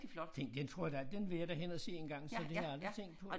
Den den tror jeg da den vil jeg da hen og se engang så det har jeg aldrig tænkt på